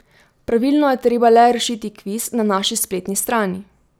Pravilno je treba le rešiti kviz na naši spletni strani!